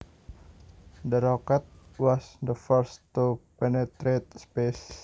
The rocket was the first to penetrate space